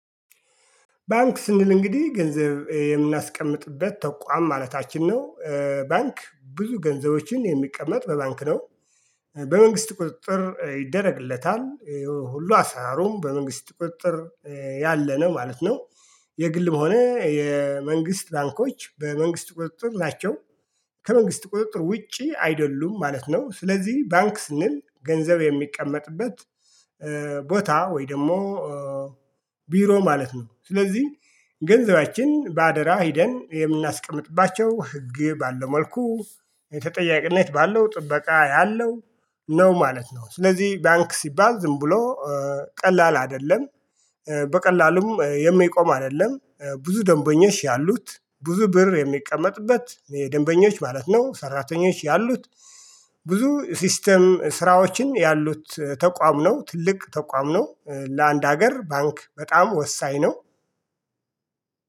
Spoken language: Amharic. ባንክ ስንል እንግዲህ ገንዘብ የምናስቀምጥበት ተቋም ማለታችን ነው። ባንክ ብዙ ገንዘቦችን የሚቀመጥ በባንክ ነው። በመንግስት ቁጥጥር ይደረግለታል። ሁሉ አሰራሩም በመንግስት ቁጥጥር ያለ ነው ማለት ነው። የግል በሆነ የመንግስት ባንኮች በመንግስት ቁጥጥር ናቸው። ከመንግስት ቁጥጥር ውጪ አይደሉ። ማለት ነው። ስለዚህ ባንክ ስንል ገንዘብ የሚቀመጥበት ቦታ ወይ ደግሞ ቢሮ ማለት ነው። ስለዚህ ገንዘባችን በአደራ ሄደን የምናስቀምጥባቸው ህግ ባለው መልኩ የተጠያቂነት ባለው ጥበቃ ያለው ነው ማለት ነው። ስለዚህ ባንክ ሲባል ዝም ብሎ ቀላል አይደለም። በቀላሉም የሚቆም አይደለም። ብዙ ደንበኛሽ ያሉት ብዙ ብር የሚቀመጥበት የደንበኞች ማለት ነው ሰራተኞች ያሉት ብዙ ሲስተም ስራዎችን ያሉት ተቋም ነው። ትልቅ ተቋም ነው። ለአንድ ሀገር ባንክ በጣም ወሳኝ ነው።